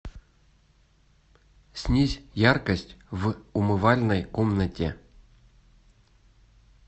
снизь яркость в умывальной комнате